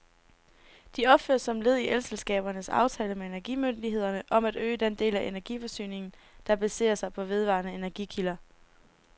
De opføres som led i elselskabernes aftale med energimyndighederne om at øge den del af energiforsyningen, der baserer sig på vedvarende energikilder.